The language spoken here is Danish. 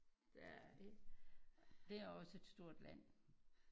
Der ikke det er også et stort land